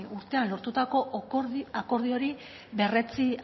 urtean lortutako akordio hori berretsi